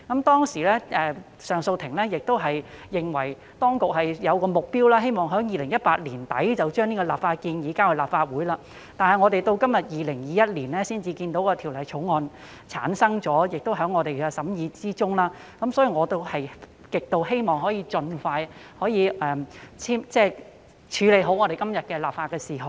當時上訴法庭認為當局應設定目標，在2018年年底將相關的立法建議提交立法會，但是，及至2021年的今天，《條例草案》才產生，並在立法會會議上予以審議，所以我極希望可以盡快完成處理今天的立法事項。